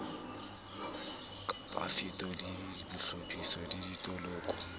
ka bafetoledi bahlophisi le ditoloko